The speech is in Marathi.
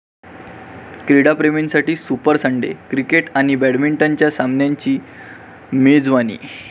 क्रीडाप्रेमींसाठी सुपर सन्डे! क्रिकेट आणि बॅडमिंटनच्या सामन्यांची मेजवानी